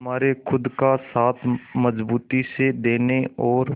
हमारे खुद का साथ मजबूती से देने और